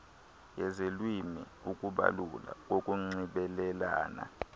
yezelwimi ukubalula kokunxibelelana